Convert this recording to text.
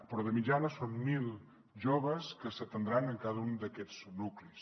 però de mitjana són mil joves que s’atendran en cada un d’aquests nuclis